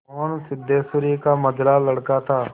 मोहन सिद्धेश्वरी का मंझला लड़का था